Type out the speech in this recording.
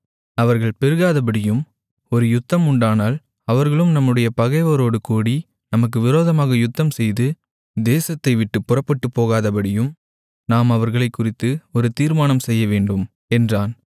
அவர்கள் பெருகாதபடியும் ஒரு யுத்தம் உண்டானால் அவர்களும் நம்முடைய பகைவரோடு கூடி நமக்கு விரோதமாக யுத்தம்செய்து தேசத்தைவிட்டுப் புறப்பட்டுப்போகாதபடியும் நாம் அவர்களைக்குறித்து ஒரு தீர்மானம் செய்யவேண்டும் என்றான்